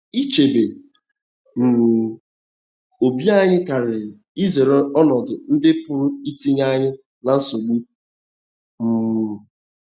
Ichebe um obi anyị karịrị izere ọnọdụ ndị pụrụ itinye anyị ná nsogbu. um